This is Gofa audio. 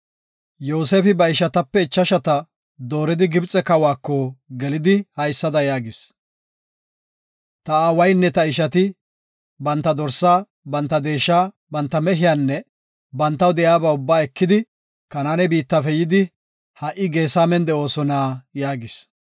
Yoosefi ba ishatape ichashata dooridi Gibxe kawako gelidi haysada yaagis; “Ta aawaynne ta ishati, banta dorsa, banta deesha, banta mehiyanne bantaw de7iyaba ubbaa ekidi Kanaane biittafe yidi, ha7i Geesamen de7oosona” yaagis.